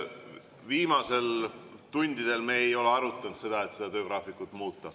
Viimastel tundidel me ei ole arutanud, et seda töögraafikut muuta.